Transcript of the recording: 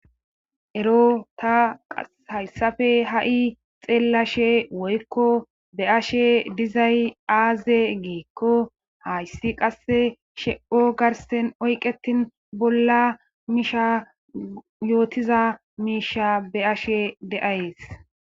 Ero ta hayssape ha'i xeellashe woykko be ashe dizay aaze giekko hayssi qasse shepho garsen oyqetin bolla miisha yootiza miisha be ashe de'ayes.